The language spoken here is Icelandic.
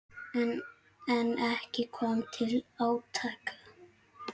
En ekki kom til átaka.